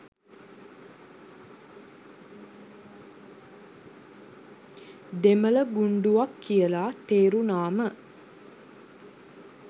දෙමළ ගුණ්ඩුවක් කියල. තේරුනාම.